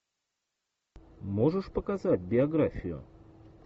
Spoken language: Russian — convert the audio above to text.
можешь показать биографию